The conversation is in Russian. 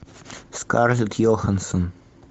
скарлетт йоханссон